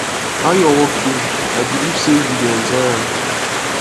how your work dey i believe say you dey enjoy am